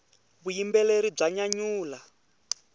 vuyimbeleri bya nyanyula